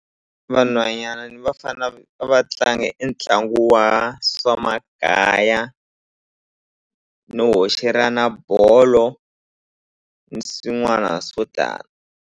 Vanhwanyani ni vafana a va tlangi e ntlangu wa swa makaya no hoxelana bolo ni swin'wana swo tala.